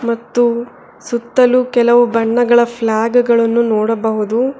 ಮತ್ತು ಸುತ್ತಲು ಕೆಲವು ಬಣ್ಣಗಳ ಫ್ಲಾಗಗಳನ್ನು ನೋಡಬಹುದು.